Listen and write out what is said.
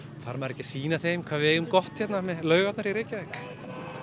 þarf maður ekki að sýna þeim hvað við eigum gott hérna með laugarnar í Reykjavík